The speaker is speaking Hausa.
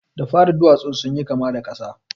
Da fari duwatsun sun yi kama da ƙasa.